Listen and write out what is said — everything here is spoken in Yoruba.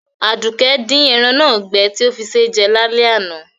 Àdùkẹ́ di eran náà gbẹ ti o fí sé jẹ lálẹ́ àná